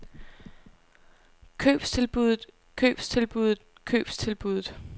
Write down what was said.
købstilbuddet købstilbuddet købstilbuddet